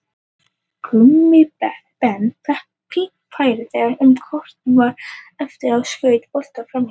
Gummi Ben fékk fínt færi þegar um korter var eftir en skaut boltanum framhjá.